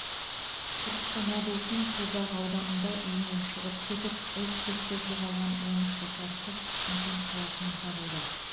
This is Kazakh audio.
түркістан облысының созақ ауданында үйінен шығып кетіп із түссіз жоғалған он үш жасар қыз шымкент қаласынан табылды